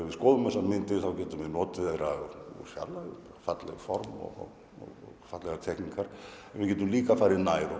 við skoðum þessar myndir getum við notið þeirra úr fjarlægð falleg form og fallegar teikningar en við getum líka farið nær og